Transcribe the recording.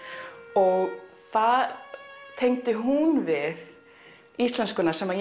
og það tengdi hún við íslenskuna sem